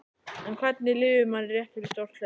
En hvernig líður manni rétt fyrir svo stórt hlaup?